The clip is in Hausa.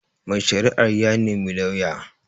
Mai shari'a ya nemi lauya